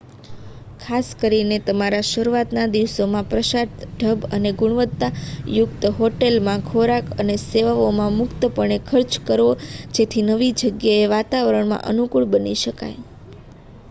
ખાસ કરીને તમારા શરૂઆતના દિવસોમાં પશ્ચાત ઢબની અને ગુણવત્તા યુક્ત હોટેલ માં ખોરાક અને સેવાઓમાં મુક્ત પણે ખર્ચ કરવો જેથી નવી જગ્યાના વાતાવરણમાં અનુકૂળ બની શકાય